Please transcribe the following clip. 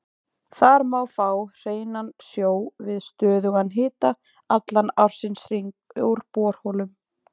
Þar má fá hreinan sjó við stöðugan hita allan ársins hring úr borholum.